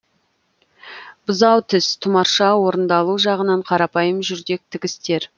бұзау тіс тұмарша орындалу жағынан қарапайым жүрдек тігістер